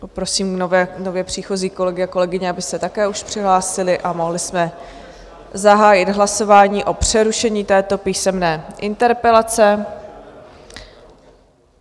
Poprosím nově příchozí kolegy a kolegyně, aby se také už přihlásili, a mohli jsme zahájit hlasování o přerušení této písemné interpelace.